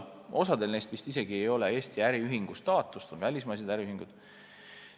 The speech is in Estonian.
Osal neist vist isegi ei ole Eesti äriühingu staatust, need on välismaised äriühingud.